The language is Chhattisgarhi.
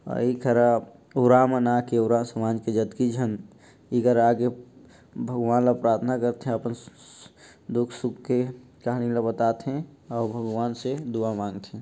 अउ ए करा ओरा मन आके ओरा समाज के जतके झन एकरा आके भगवान ल प्राथना कर थे अपन सु सु दुख-सुख के कहानी ल बताथे अउ भगवान से दुआ मांग थे।